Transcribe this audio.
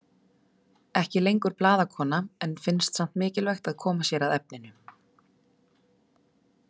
Ekki lengur blaðakona en finnst samt mikilvægt að koma sér að efninu.